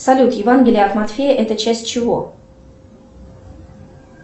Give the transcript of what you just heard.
салют евангелие от матфея это часть чего